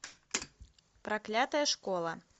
проклятая школа